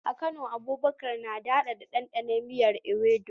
A Kano, Abubakar na daɗaɗa ɗanɗanon miyar Ewedu.